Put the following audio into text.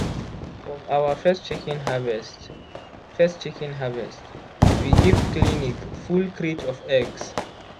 from our first chicken harvest first chicken harvest we give clinic full crate of eggs.